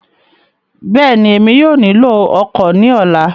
Bẹ́ẹ̀ni, Emi yóò nilo ọ́kọ ni ọla